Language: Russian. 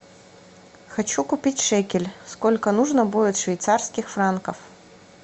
хочу купить шекель сколько нужно будет швейцарских франков